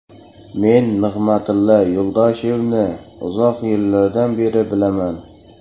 Men Nig‘matilla Yo‘ldoshevni uzoq yillardan beri bilaman.